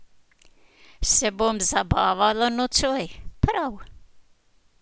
Se bom zabavala nocoj, prav?